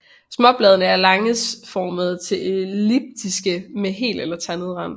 Småbladene er lancetformede til elliptiske med hel eller tandet rand